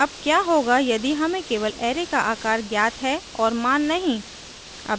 अब क्या होगा यदि हमें केवल array का आकार ज्ञात है और मान नहीं